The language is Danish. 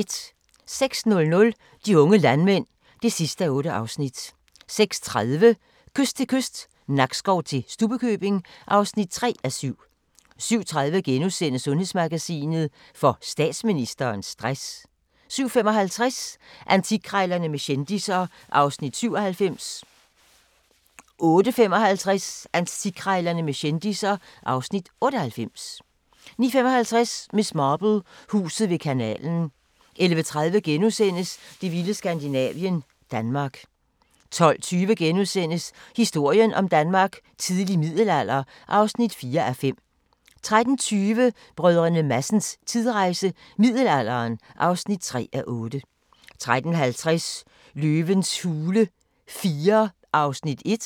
06:00: De unge landmænd (8:8) 06:30: Kyst til kyst – Nakskov til Stubbekøbing (3:7) 07:30: Sundhedsmagasinet: Får statsministeren stress? * 07:55: Antikkrejlerne med kendisser (Afs. 97) 08:55: Antikkrejlerne med kendisser (Afs. 98) 09:55: Miss Marple: Huset ved kanalen 11:30: Det vilde Skandinavien - Danmark * 12:20: Historien om Danmark: Tidlig middelalder (4:5)* 13:20: Brdr. Madsens tidsrejse – middelalderen (3:8) 13:50: Løvens hule IV (1:8)